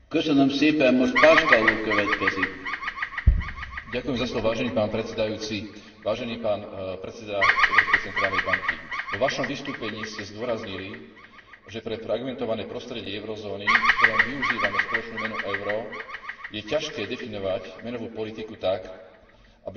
Vážený pán predseda Európskej centrálnej banky, vo vašom vystúpení ste zdôraznili, že pre fragmentované prostredie eurozóny, v ktorom využívame spoločnú menu euro, je ťažké definovať menovú politiku tak, aby vyhovovala aj industrializovaným krajinám na severe Európy a súčasne